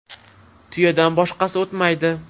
Tuyadan boshqasi o‘tmaydi.